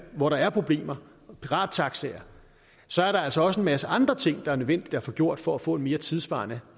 hvor der er problemer med pirattaxakørsel så er der altså også en masse andre ting der er nødvendige at få gjort for at få en mere tidssvarende